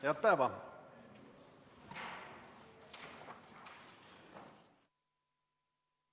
Head päeva!